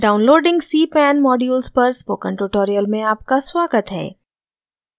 downloading cpan modules पर spoken tutorial में आपका स्वागत है